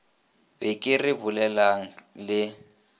be ke re bolelang le